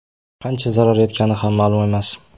Qancha zarar yetgani ham ma’lum emas.